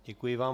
Děkuji vám.